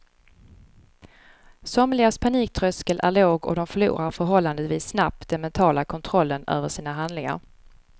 Somligas paniktröskel är låg och de förlorar förhållandevis snabbt den mentala kontrollen över sina handlingar.